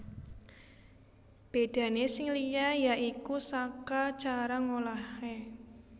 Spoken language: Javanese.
Bédané sing liya ya iku saka cara ngolahé